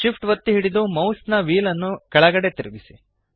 SHIFT ಒತ್ತಿ ಹಿಡಿದು ಮೌಸ್ನ ವ್ಹೀಲ್ ನ್ನು ಕೆಳಗಡೆಗೆ ತಿರುಗಿಸಿ